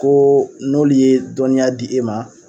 Ko n'olu ye dɔɔniya di e ma.